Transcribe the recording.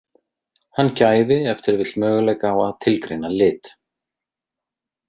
Hann gæfi ef til vill möguleika á að tilgreina lit.